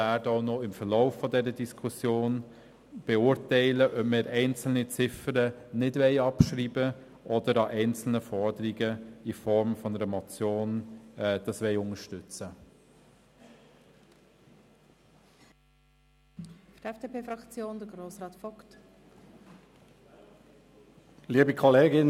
Im Verlauf der Diskussion werden wir zudem noch beurteilen, ob wir einzelne Ziffern nicht abschreiben oder einzelne Forderungen in Form einer Motion unterstützen wollen.